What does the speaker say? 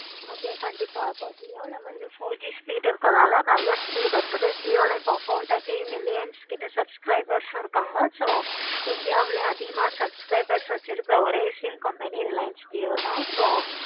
okay கண்டிப்பா jio ல வந்து four G speed இருக்கனால நல்ல speed இருக்குது jio ல இப்ப four thirty million கிட்ட subscribers இருக்காங்க. india ளையும் இப்படிலாம் subscribers இருக்காங்க. so india லையே அதிகமா subscribers வச்சிருக்க ஒரே sim company reliance jio தான்